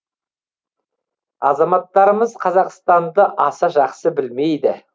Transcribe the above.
азаматтарымыз қазақстанды аса жақсы білмейді